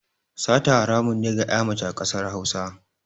Sata haramun ne a ga ƴa mace ƙasar Hausa